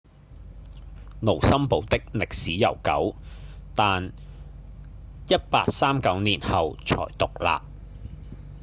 盧森堡的歷史悠久但1839年後才獨立